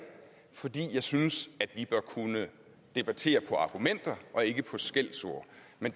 fordi jeg synes vi bør kunne debattere på argumenter og ikke på skældsord men